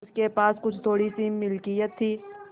उसके पास कुछ थोड़ीसी मिलकियत थी